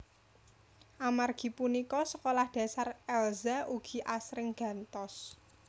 Amargi punika sekolah dasar Elza ugi asring gantos